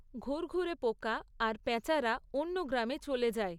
ঘুরঘুরে পোকা আর প্যাঁচারা অন্য গ্রামে চলে যায়।